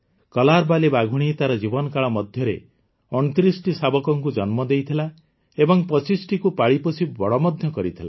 କଲାରବାଲୀ ବାଘୁଣୀ ତାର ଜୀବନକାଳ ମଧ୍ୟରେ ୨୯ଟି ଶାବକଙ୍କୁ ଜନ୍ମ ଦେଇଥିଲା ଏବଂ ୨୫ଟିକୁ ପାଳିପୋଷି ବଡ଼ ମଧ୍ୟ କରିଥିଲା